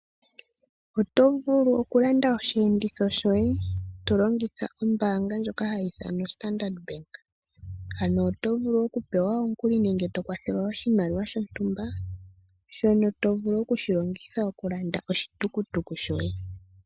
Oto vulu okulanda oshiyenditho shoye to longitha ombaanga ndjoka hayi ithanwa Standard bank, ano oto vulu okupewa omukuli nenge to kwathelwa oshimaliwa shontumba, shono to vulu okushi longitha okulanda oshitukutuku shoye.